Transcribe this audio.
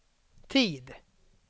tid